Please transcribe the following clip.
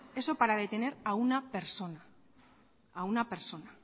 eso para detener a una persona a una persona